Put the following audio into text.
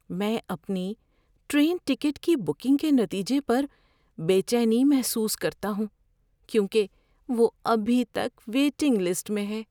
میں اپنی train ticket کی بکنگ کے نتیجے پر بے چینی محسوس کرتا ہوں کیونکہ وہ ابھی تک ویٹنگ لسٹ میں ہے۔